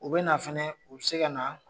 U bɛ finɛ u bɛ se ka na